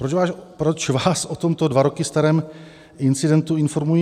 Proč vás o tomto dva roky starém incidentu informuji?